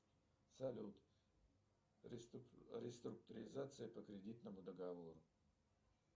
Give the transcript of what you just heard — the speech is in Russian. салют реструктуризация по кредитному договору